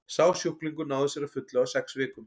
sá sjúklingur náði sér að fullu á sex vikum